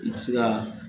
I bɛ se ka